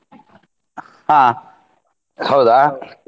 ಹಾ ಹೌದಾ